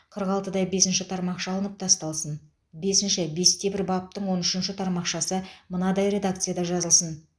қырық алтыда бесінші тармақша алып тасталсын бесінші бесте бір баптың он үшінші тармақшасы мынадай редакцияда жазылсын